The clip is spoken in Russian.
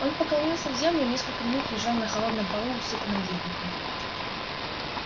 он поклонился в землю и несколько минут лежал на холодном полу усыпанном ельником